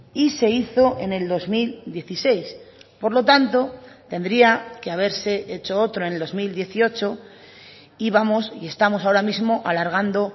y se hizo en el dos mil dieciséis por lo tanto tendría que haberse hecho otro en el dos mil dieciocho y vamos y estamos ahora mismo alargando